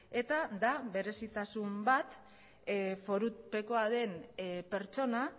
eta da berezitasun bat forupekoa den pertsona